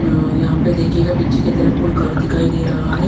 अअअ यहाँ पे देखिएगा पीछे की तरफ कोई घर दिखाई दे रहा है।